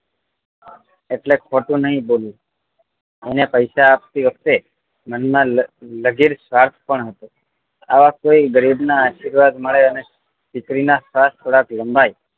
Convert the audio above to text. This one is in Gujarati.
એટલે ખોટું નહિ બોલું અને પૈસા આપતી વખતે મન માં લઘીર સ્વાર્થ પણ હતો આવા કોઈ ગરીબ ના આશીર્વાદ પણ મળે દીકરી ના શ્વાસ થોડાક લંબાઈ